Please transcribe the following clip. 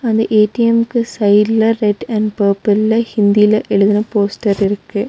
இந்த ஏ_டி_எம்க்கு சைட்ல ரெட் அண்ட் பர்பிள்ல ஹிந்தில எழுதுன போஸ்டர் இருக்கு.